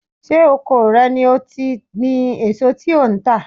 Ṣé oko rẹ ni ó ti gbin èso tí ò ń tà?